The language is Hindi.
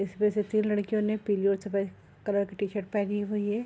इसमें से तीन लड़कियों ने पीली और सफेद कलर की टी-शर्ट पहनी हुई है।